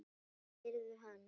spurði hann.